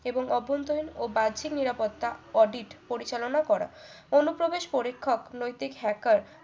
এবং অভ্যন্তরীণ ও বাহ্যিক নিরাপত্তা audit পরিচালনা করা অনুপ্রবেশ পরীক্ষক নৈতিক হ্যাকার